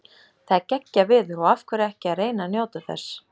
Það er geggjað veður og af hverju ekki að reyna að njóta þess.